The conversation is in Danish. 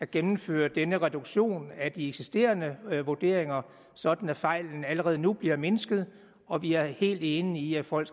gennemføre denne reduktion af de eksisterende vurderinger sådan at fejlen allerede nu bliver mindsket og vi er helt enige i at folk